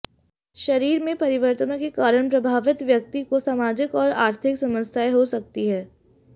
शरीर में परिवर्तनों के कारण प्रभावित व्यक्त्िा को सामाजिक और आर्थिक समस्याएं हो सकती है